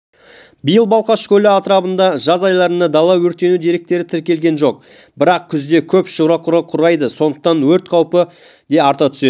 биыл балқаш көлі атырабында жаз айларында дала өртену деректері тіркелген жоқ бірақ күзде шөп-құрғап қурайды сондықтан өрт қаупі де арта түседі